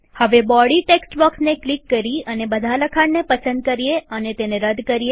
હવે body text બોક્સને click કરી અને બધા લખાણને પસંદ કરીએહવે તેને રદ કરીએ